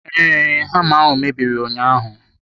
Ee, hama ahụ mebiri ụnyaahụ.